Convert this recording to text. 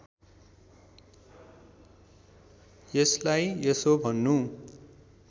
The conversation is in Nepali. यसलाई यसो भन्नु